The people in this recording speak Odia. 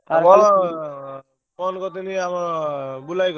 Phone କରିଥେଲି ଆମର ବୁଲା ଭାଇ କତିକି।